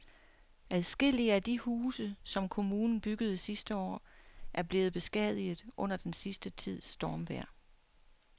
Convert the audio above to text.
Adskillige af de huse, som kommunen byggede sidste år, er blevet beskadiget under den sidste tids stormvejr.